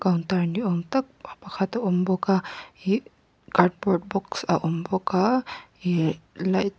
counter ni awm tak pakhat a awm bawk a ihh cardboard box a awm bawk a ihh light --